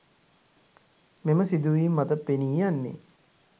මෙම සිදුවීම් මත පෙනී යන්නේ